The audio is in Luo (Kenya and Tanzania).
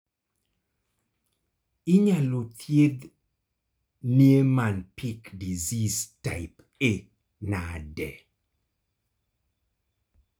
inyalo thiedh Niemann Pick disease type A nade?